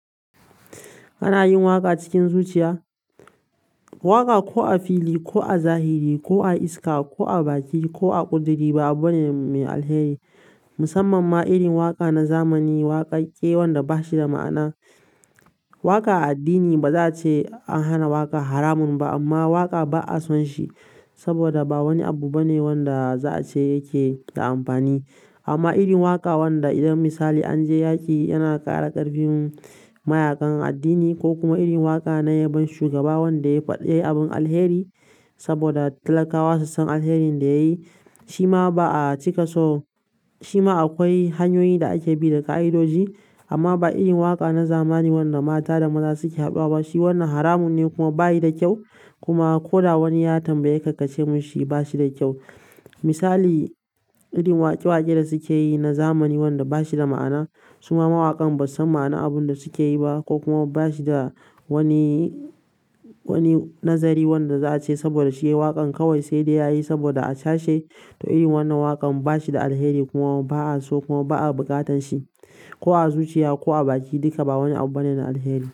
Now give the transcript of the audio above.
Kana yin waƙa cikin zuciya? Waƙa ko a fili, ko a zahiri, ko a iska, ko a baki ko a ƙuduri ba abu bane mai alheri. Musamman ma irin waƙa na zamani, waƙaƙƙewar da ba shi da ma'ana. Waƙa a addini ba za a ce an hana waƙa haramun ba, amma waƙa ba a son shi saboda ba wani abu bane wanda za'ace yanada buyu babw. Amma irin waƙa wanda idan misali an je yaƙi yana ƙara ƙarfin mayaƙan addini ko kuma irin waƙa na yabon shugaba wanda ya faɗi abin alheri saboda talakawa su san alkairi da yayi shima ba cika so, shima akwai hanyoyi da ake bi da ka idoji. Amma ba irin waka na zamani ba wanda mata da maza suke haduwa shi wnn haramun ne kuma bayi da kyau kuma ko da wani ya tambaye ka, ka ce mashi bashi da kyau. Misali, irin waƙe-waƙe da suke yi na zamani wanda ba shi da ma'ana, su ma mawaƙan ba su san ma'ana abun da suke yi ba ko kuma ba shi da wani, wani nazari wanda za a ce saboda shi yayi waƙan kawai sai dai yayi saboda a cashe. To irin wannan waƙan ba shi da alheri kuma ba a so kuma ba a bukatar shi. Ko a zuciya ko a baki duka ba wani abu bane na alheri.